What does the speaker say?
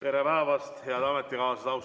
Tere päevast, head ametikaaslased!